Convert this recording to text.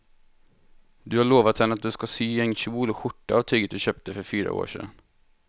Du har lovat henne att du ska sy en kjol och skjorta av tyget du köpte för fyra år sedan.